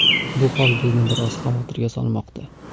Bu hol bizni biroz xavotirga solmoqda.